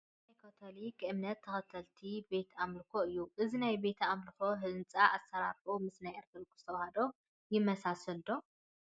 እዚ ናይ ካቶሊክ እምነት ተኸተልቲ ቤተ ኣምልኮ እዩ፡፡ እዚ ናይ ቤተ ኣምልኮ ህንፃ ኣሰራርሕኡ ምስ ናይ ኦርቶዶክስ ተዋህዶ ይመሳሰል ዶ?